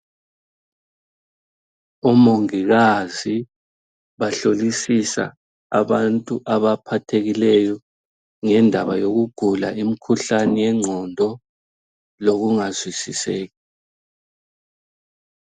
Omongikazi bahlolisisa abantu abaphathekileyo ngendaba yokugula imikhuhlane yengqondo lokungazwisiseki.